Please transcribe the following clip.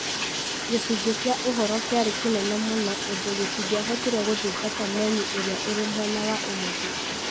Gĩcunjĩ kĩa ũhoro kĩarĩ kĩnene mũno ũndũ gĩtingĩahotire gũthingata menyũ ĩrĩa ĩrĩ mwena wa ũmotho